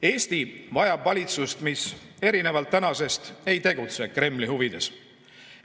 Eesti vajab valitsust, mis erinevalt tänasest ei tegutse Kremli huvides.